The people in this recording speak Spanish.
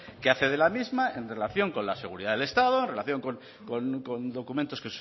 que hace de la misma en relación con la seguridad del estado en relación con documentos